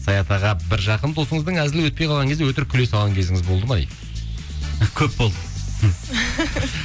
саят аға бір жақын досыңыздың әзілі өтпей қалған кезі өтірік күле салған кезіңіз болды ма дейді көп болды